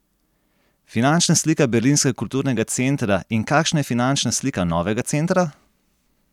Finančna slika berlinskega kulturnega centra In kakšna je finančna slika novega centra?